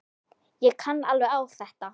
Ég kann alveg á þetta.